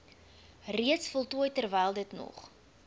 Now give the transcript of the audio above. reeds voltooi terwylditnog